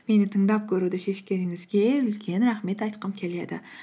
мені тыңдап көруді шешкеніңізге үлкен рахмет айтқым келеді